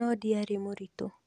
No ndĩarĩ mũritu